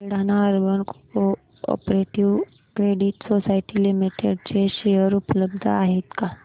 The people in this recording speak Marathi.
Buldhana urban cooperative credit society limited चे शेअर उपलब्ध आहेत का